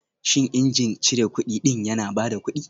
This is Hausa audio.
Shin injin cire kudi ɗin yana ba da kuɗi